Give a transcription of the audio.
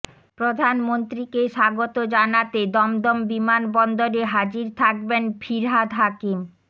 প্রধানমন্ত্রীকে স্বাগত জানাতে দমদম বিমানবন্দরে হাজির থাকবেন ফিরহাদ হাকিম